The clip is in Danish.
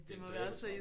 Det en dræbertrappe